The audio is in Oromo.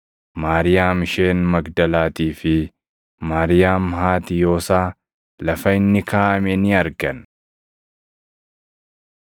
Maariyaam isheen Magdalaatii fi Maariyaam haati Yoosaa lafa inni kaaʼame ni argan.